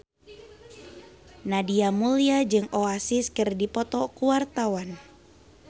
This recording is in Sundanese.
Nadia Mulya jeung Oasis keur dipoto ku wartawan